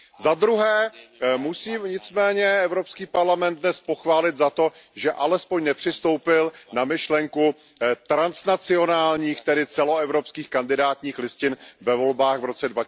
Za druhé musím nicméně Evropský parlament dnes pochválit za to, že alespoň nepřistoupil na myšlenku transnacionálních, tedy celoevropských kandidátních listin ve volbách v roce